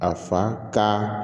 A fa kan